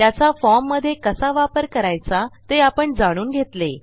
त्याचा फॉर्ममधे कसा वापर करायचा ते आपण जाणून घेतले